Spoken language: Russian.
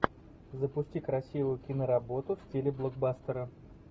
запусти красивую киноработу в стиле блокбастера